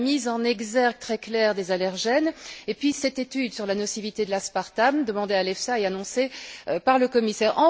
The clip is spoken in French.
La mise en exergue très claire des allergènes, et puis, cette étude sur la nocivité de l'aspartam demandée à l'EFSA et annoncée par le Commissaire.